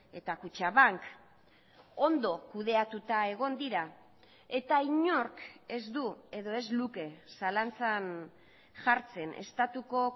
eta kutxabank ondo kudeatuta egon dira eta inork ez du edo ez luke zalantzan jartzen estatuko